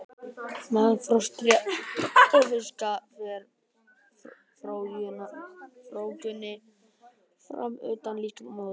Meðal froskdýra og fiska fer frjóvgunin fram utan líkama móður.